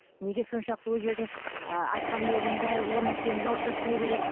неге соншалықты ол жердің ы атқамінерінің бәрі ол нәрсені жауып тастай береді